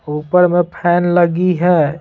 ऊपर में फैन लगी है।